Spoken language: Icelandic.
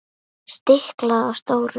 Stiklað á stóru